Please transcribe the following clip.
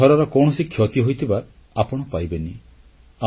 ଏ ଘରର କୌଣସି କ୍ଷତି ହୋଇଥିବା ଆପଣ ପାଇବେନି